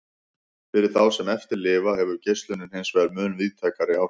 Fyrir þá sem eftir lifa hefur geislunin hinsvegar mun víðtækari áhrif.